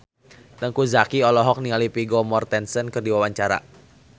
Teuku Zacky olohok ningali Vigo Mortensen keur diwawancara